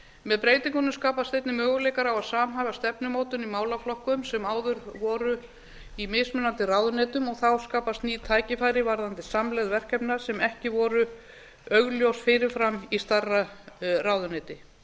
með breytingunum skapast einnig möguleikar á að samhæfa stefnumótun í málaflokkum sem áður voru í mismunandi ráðuneytum og þá skapast ný tækifæri varðandi samlegð verkefna sem ekki voru augljós fyrir fram í stærra ráðuneyti